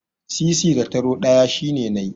Sisi da taro ɗaya shine nai.